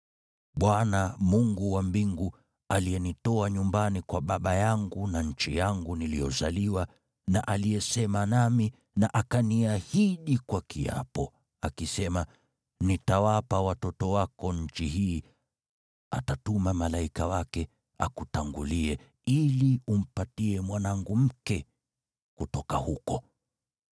Bwana , Mungu wa mbingu, aliyenitoa nyumbani kwa baba yangu na nchi yangu niliyozaliwa na aliyesema nami na akaniahidi kwa kiapo, akisema, ‘Nitawapa watoto wako nchi hii,’ atatuma malaika wake akutangulie ili umpatie mwanangu mke kutoka huko.